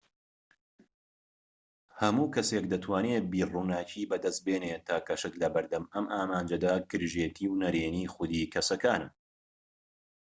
هەموو کەسێك دەتوانێت بیرڕووناکی بەدەستبێنێت تاکە شت لەبەر دەم ئەم ئامانجەدا گرژێتی و نەڕێنی خوودی کەسەکانە